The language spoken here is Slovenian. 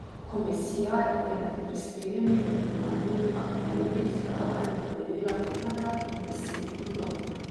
Komisija je med prispelimi originalnimi akvareli izbrala in podelila pet nagrad in deset diplom.